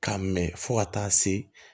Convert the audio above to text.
K'a mɛn fo ka taa se